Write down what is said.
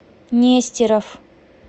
нестеров